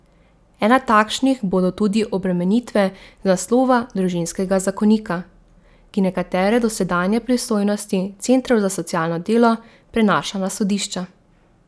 Ena takšnih bodo tudi obremenitve z naslova družinskega zakonika, ki nekatere dosedanje pristojnosti centrov za socialno delo prenaša na sodišča.